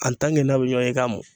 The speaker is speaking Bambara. n'a' be ɲɔɔn ye i k'a mun.